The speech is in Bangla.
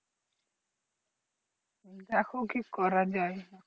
দেখো কি করা যাই